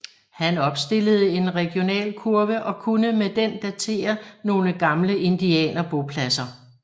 Han opstillede en regionalkurve og kunne med den datere nogle gamle indianerbopladser